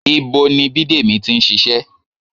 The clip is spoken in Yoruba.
Ibo ni Bidemi ti ń ṣiṣẹ́?